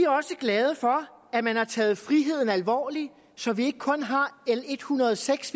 også glade for at man har taget friheden alvorligt så vi ikke kun har l en hundrede og seks